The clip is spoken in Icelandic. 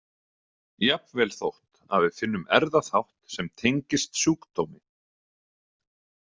Jafnvel þótt að við finnum erfðaþátt sem tengist sjúkdómi.